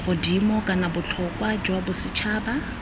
godimo kana botlhokwa jwa bosetšhaba